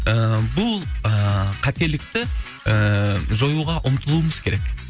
ііі бұл ііі қателікті ііі жоюға ұмтылуымыз керек